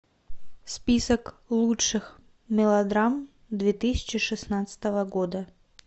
список лучших мелодрам две тысячи шестнадцатого года